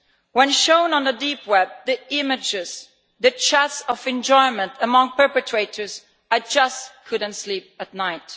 When shown on the Deep web the images, the cheers of enjoyment among perpetrators I just couldn't sleep at night.